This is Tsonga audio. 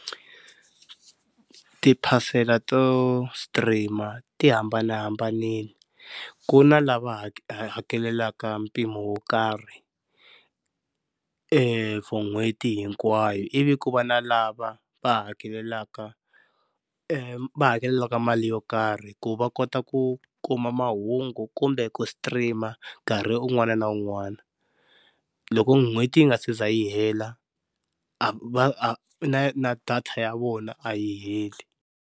Ti phasela to stream ti hambanahambanile ku na lava hakelaka mpimo wo karhi for n'hweti hinkwayo, ivi ku va na lava va hakelaka, va hakelaka mali yo karhi ku va kota ku kuma mahungu kumbe ku stream nkarhi un'wana na un'wana loko n'hweti yi nga se za yi hela a va na na data ya vona a yi heli.